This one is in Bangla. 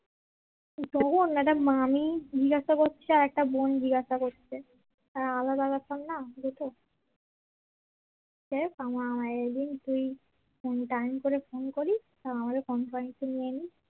একটা মামি জিজ্ঞাসা করছে আর একটা বোন জিজ্ঞাসা করছে তা আলাদা ব্যাপার না দুটো দেখ আমার I Think তুই এমনি টাইম করে ফোন করিস আর আমাকে কনফারেন্সে নিয়ে নিস